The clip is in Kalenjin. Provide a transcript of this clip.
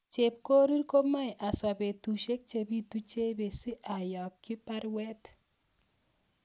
Chepkorir komoe aswa petusiek chebitu Chebet si ayakyi baruet